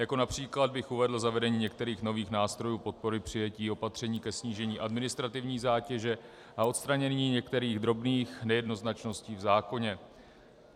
Jako příklad bych uvedl zavedení některých nových nástrojů podpory, přijetí opatření ke snížení administrativní zátěže a odstranění některých drobných nejednoznačností v zákoně.